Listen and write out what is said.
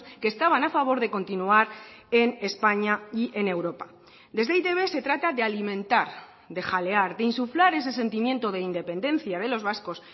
que estaban a favor de continuar en españa y en europa desde e i te be se trata de alimentar de jalear de insuflar ese sentimiento de independencia de los vascos